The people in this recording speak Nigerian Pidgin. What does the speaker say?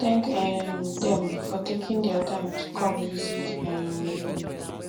thank um them for taking their time to come visit um you